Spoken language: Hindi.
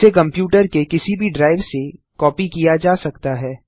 जिसे कंप्यूटर के किसी भी ड्राइव में कॉपी किया जा सकता है